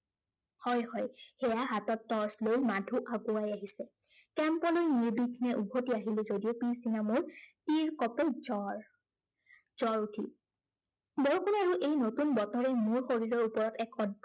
হয় হয়, সেইয়া হাতত torch লৈ মাধু আগুৱাই আহিছে। camp লৈ নিৰ্বঘ্নে উভটি আহিলো যদিও, পিছদিনা মোৰ তিৰকঁপে জ্বৰ। জ্বৰ উঠিল। বৰষুণে আৰু এই নতুন বতৰে মোৰ শৰীৰৰ ওপৰত এখন